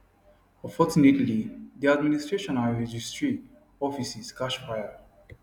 unfortunately di administration and registry offices catch fire